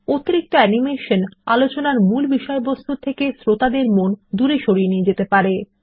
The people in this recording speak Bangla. অতিরিক্ত অ্যানিমেশন আলোচনা মূল বিষয়বস্তু থেকে শ্রোতাদের মনোযোগ সরিয়ে নিয়ে যেতে পারে